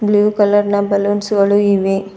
Blue colour ನ balloons ಗಳು ಇವೆ.